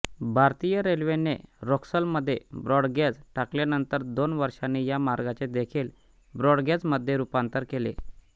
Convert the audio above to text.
भारतीय रेल्वेने रक्सौलमध्ये ब्रॉडगेज टाकल्यानंतर दोन वर्षांनी या मार्गाचे देखील ब्रॉडगेजमध्ये रुपांतरण केले